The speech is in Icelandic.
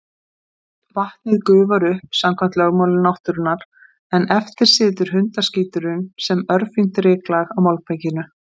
Vatnið gufar upp samkvæmt lögmálum náttúrunnar, en eftir situr hundaskíturinn sem örfínt ryklag á malbikinu.